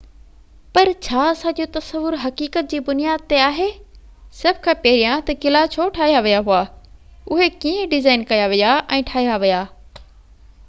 پر ڇا اسان جو تصور حقيقت جي بنياد تي آهي سڀ کان پهريان ته قلعا ڇو ٺاهيا ويا هئا اهي ڪيئن ڊزائن ڪيا ويا ۽ ٺاهيا ويا